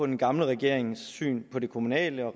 den gamle regerings syn på det kommunale og